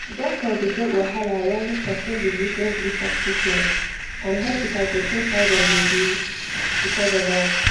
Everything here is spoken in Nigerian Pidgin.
doctor dey get wahala when person belief no gree for treatment and hospital go change how dem dey do because of am